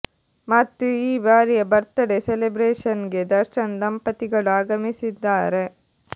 ಮತ್ತು ಈ ಬಾರಿಯ ಬರ್ತಡೇ ಸೆಲೆಬ್ರೇಷನ್ ಗೆ ದರ್ಶನ್ ದಂಪತಿಗಳು ಆಗಮಿಸಿದ್ದಾರೆ